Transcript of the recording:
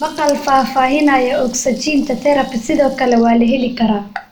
Maqaal faahfaahinaya Ogsajiinta Therapy sidoo kale waa la heli karaa.